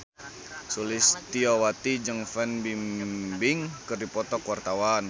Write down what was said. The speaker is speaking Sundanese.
Sulistyowati jeung Fan Bingbing keur dipoto ku wartawan